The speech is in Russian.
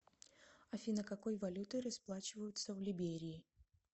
афина какой валютой расплачиваются в либерии